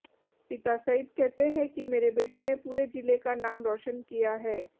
पिता सईद कहते हैं कि मेरे बेटे ने पूरे जिले का नाम रौशन किया है